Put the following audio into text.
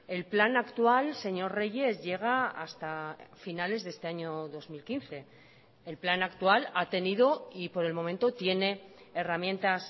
el plan actual señor reyes llega hasta finales de este año dos mil quince el plan actual ha tenido y por el momento tiene herramientas